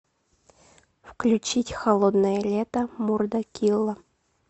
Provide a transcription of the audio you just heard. включить холодное лето мурда килла